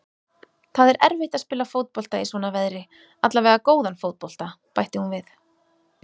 Það er erfitt að spila fótbolta í svona veðri, allavega góðan fótbolta, bætti hún við.